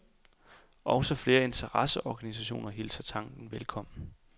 Også flere interesseorganisationer hilser tanken velkommen.